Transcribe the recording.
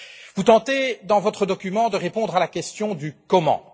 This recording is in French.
Vous tentez dans votre document de répondre à la question du comment.